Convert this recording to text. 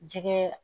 Jɛgɛ